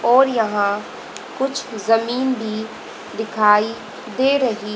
और यहां कुछ जमीन भी दिखाई दे रही--